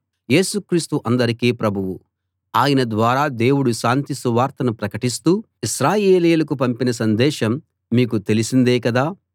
యేసు క్రీస్తు అందరికీ ప్రభువు ఆయన ద్వారా దేవుడు శాంతి సువార్తను ప్రకటిస్తూ ఇశ్రాయేలీయులకు పంపిన సందేశం మీకు తెలిసిందే కదా